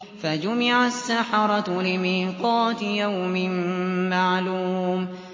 فَجُمِعَ السَّحَرَةُ لِمِيقَاتِ يَوْمٍ مَّعْلُومٍ